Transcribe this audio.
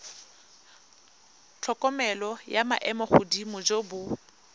tlhokomelo jwa maemogodimo jo bo